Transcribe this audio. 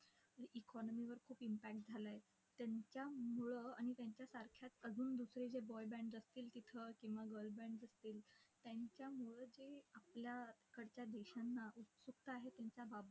Economy वर impact झाला आहे. त्यांच्यामुळं आणि त्यांच्यासारख्या अजून दुसरे जे boy bands असतील तिथं किंवा girl bands असतील त्यांच्यामुळंच हे आपल्याकडच्या देशांना उत्सुकता आहे त्यांच्याबाबत.